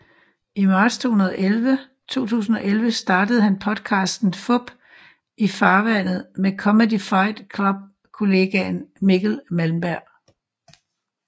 I marts 2011 startede han podcasten Fup i farvandet med Comedy Fight Club kollegaen Mikkel Malmberg